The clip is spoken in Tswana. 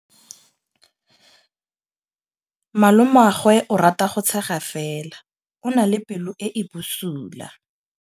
Malomagwe o rata go tshega fela o na le pelo e e bosula.